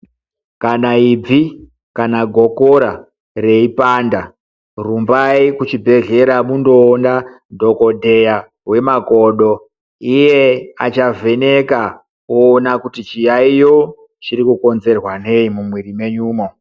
Kana ibvi kana gokora reipanda rumbai kuchibhedhlera mundoona dhokodheya wemakodo iye achavheneka ona kuti chiyaiyo chiri kukonzwerwa nei mumwiri menyumwo.